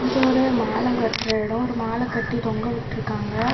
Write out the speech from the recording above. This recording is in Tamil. இது ஒரு மால கட்ற எடோ ஒரு மால கட்டி தொங்க விட்டுருக்காங்க.